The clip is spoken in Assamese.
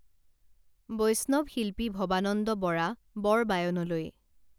বৈষ্ণৱ শিল্পী ভবানন্দ বৰা বৰবায়নলৈ